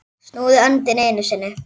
Snúðu öndinni einu sinni.